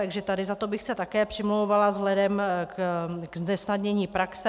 Takže tady za to bych se také přimlouvala vzhledem k znesnadnění praxe.